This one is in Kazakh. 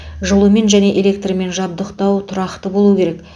жылумен және электрмен жабдықтау тұрақты болуы керек